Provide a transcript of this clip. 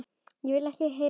Ég vildi ekki heyra meira.